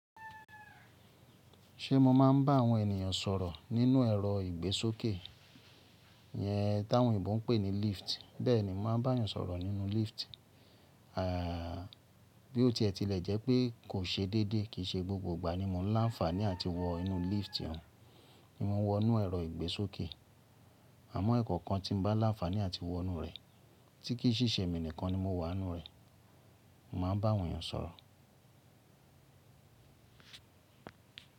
Ṣé mo máa ń bá àwọn ènìyàn sọ̀rọ̀ nínú ẹ̀rọ ìgbésókè iyẹn táwọn òyìnbó ń pè ní lift. Bẹ́ẹ̀ni, m máa bá èèyàn sọ̀rọ̀ nínú lift. Bí ó tiẹ́ ti lẹ̀ jẹ́ pé kò ṣe déédéé, kì í ṣe gbogbo ìgbà ni mo ń láǹfààní àti wọ inú lift Ni mo wọ inú ẹ̀rọ ìgbésókè. Àmọ́ ẹ̀ẹ̀kọ̀kan tí mo bá láǹfààní àti wọ inú rẹ̀ tí kì í ṣìṣẹ mi nìkan ni mo wà nínú rẹ̀. Mo máa ń bá àwọn èèyàn sọ̀rọ̀.